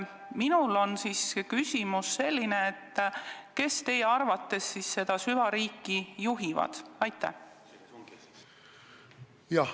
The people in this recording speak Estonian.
Mul on küsimus: kes teie arvates siis seda süvariiki juhivad?